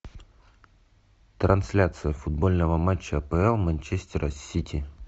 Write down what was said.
трансляция футбольного матча апл манчестера сити